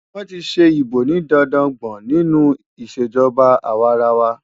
Wọ́n ti ṣe ìbò ní dandan gbọ̀n nínú ìṣèjọba àwarawa.